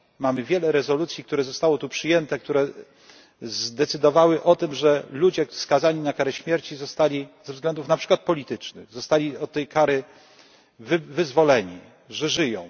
moc. Mamy wiele rezolucji, które zostały tu przyjęte, które zdecydowały o tym, że ludzie skazani na karę śmierci ze względów na przykład politycznych zostali od tej kary wyzwoleni, że żyją.